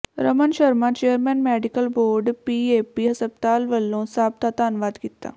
Raman Sharma chairman medical board PAP ਹਸਪਤਾਲ ਵਲੋਂ ਸਭ ਦਾ ਧੰਨਵਾਦ ਕੀਤਾ